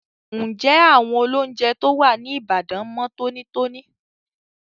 Ǹjẹ́ àwọn olóúnjẹ tó wà ní Ìbàdàn mọ tónítóní?